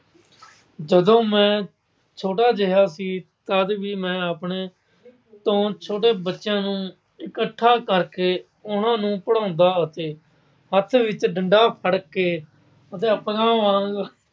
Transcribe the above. ਜਦੋਂ ਮੈਂ ਛੋਟਾ ਜਿਹਾ ਸੀ, ਤਦ ਵੀ ਮੈਂ ਆਪਣੇ ਤੋਂ ਛੋਟੇ ਬੱਚਿਆਂ ਨੂੰ ਇੱਕਠਾ ਕਰਕੇ ਉਹਨਾਂ ਨੂੰ ਪੜ੍ਹਾਉਂਦਾ ਅਤੇ ਹੱਥ ਵਿੱਚ ਡੰਡਾ ਫੜ ਕੇ ਅਧਿਆਪਕਾਂ ਵਾਂਗ